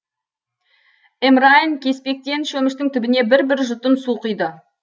эмрайин кеспектен шөміштің түбіне бір бір жұтым су құйды